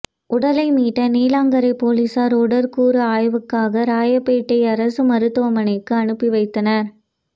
உடலை மீட்ட நீலாங்கரை போலீசார் உடற்கூறு ஆய்வுக்காக ராயப்பேட்டை அரசு மருத்துவமனைக்கு அனுப்பி வைத்தனர்